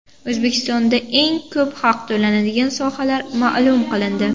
O‘zbekistonda eng ko‘p haq to‘lanadigan sohalar ma’lum qilindi.